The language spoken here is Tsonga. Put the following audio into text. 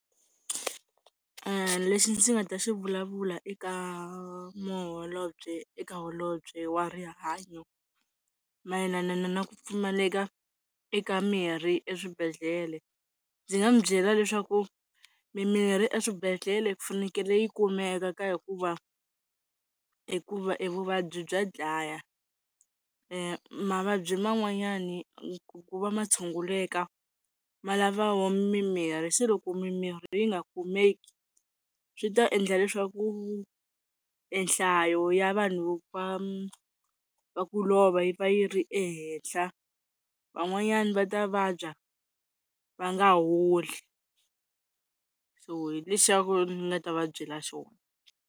Lexi ndzi nga ta xi vulavula eka maholobye eka holobye wa rihanyo mayelana na ku pfumaleka eka mirhi eswibedhlele ndzi nga n'wi byela leswaku mimirhi eswibedhlele ku fanekele yi kumeka ka hikuva hikuva e vuvabyi bya dlaya mavabyi man'wanyana ku va ma tshunguleka ma lava wo mimirhi se loko mimirhi yi nga kumeki, swi ta endla leswaku nhlayo ya vanhu va va ku lova yi va yi ri ehenhla. Van'wanyana va ta vabya va nga holi, so hi lexaku ni nga ta va byela xona.